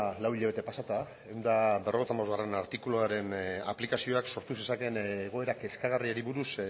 lau hilabete pasata ehun eta berrogeita hamabostgarrena artikuluaren aplikazioak sortu zezakeen egoera kezkagarriari buruz